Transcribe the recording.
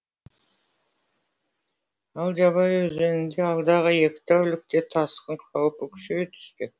ал жабай өзенінде алдағы екі тәулікте тасқын қаупі күшейе түспек